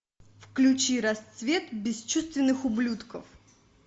включи расцвет бесчувственных ублюдков